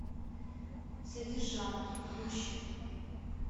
содержанки включи